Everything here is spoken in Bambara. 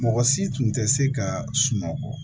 Mɔgɔ si tun tɛ se ka sunɔgɔ